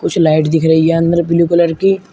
कुछ लाइट दिख रही है अंदर ब्लू कलर की।